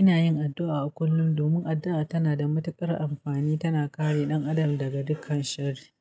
Ina yin addu'a a kullum domin addu'a tana da matuƙar amfani, tana kare ɗan adam daga dukkan sharri.